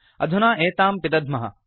अधुना एतां पिदध्मः